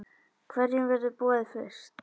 Hverjum verður boðið fyrst?